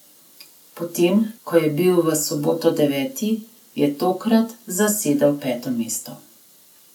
Potem ko je bil v soboto deveti, je tokrat zasedel peto mesto.